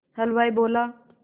हलवाई बोला